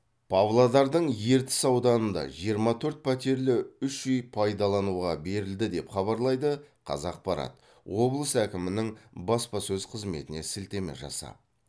павлодардың ертіс ауданында жиырма төрт пәтерлі үш үй пайдалануға берілді деп хабарлайды қазақпарат облыс әкімінің баспасөз қызметіне сілтеме жасап